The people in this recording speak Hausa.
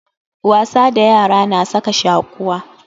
Wasa da yara na saka shaquwa.